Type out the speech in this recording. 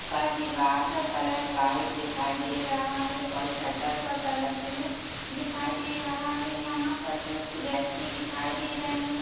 पर दीवार का कलर व्हाइट दिखाई दे रहा है और शटर का कलर ब्लू दिखाई दे रहा है। यहां पर कुछ व्यक्ति दिखाई दे रहे--